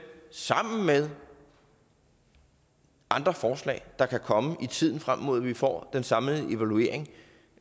sammen med andre forslag der kan komme i tiden frem mod at vi får den samlede evaluering